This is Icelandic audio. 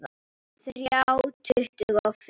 Þrjá tuttugu og fimm!